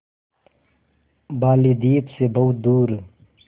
बालीद्वीप सें बहुत दूर